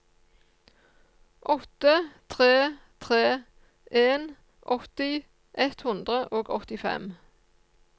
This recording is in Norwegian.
åtte tre tre en åtti ett hundre og åttifem